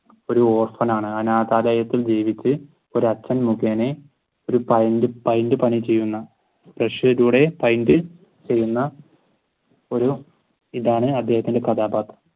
ഒരു orphan ആണ് അനാഥാലായത്തിൽ ജീവിച്ചു ഒരു അച്ഛൻ മുകേനെ ഒരു പണി ചെയുന്ന ചെയ്യുന്ന ഒരു ഇതാണ് അദ്ദേഹത്തിന്റെ കഥാപാത്രം